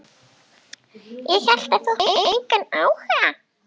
Ég hélt að þú hefðir engan áhuga.